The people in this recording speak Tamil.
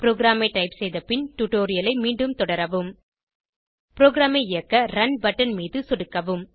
ப்ரோகிராமை டைப் செய்த பின் டுடோரியலை மீண்டும் தொடரவும் ப்ரோகிராமை இயக்க ரன் பட்டன் மீது சொடுக்கவும்